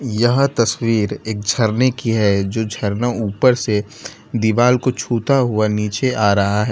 यह तस्वीर एक झरने की है जो झरना ऊपर से दीवाल को छूता हुआ नीचे आ रहा है।